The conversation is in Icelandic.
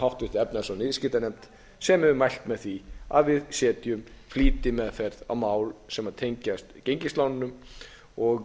háttvirta efnahags og viðskiptanefnd sem hefur mælt með því að við setjum flýtimeðferð á mál sem tengjast gengislánunum og